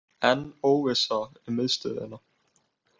Enn óvissa um miðstöðina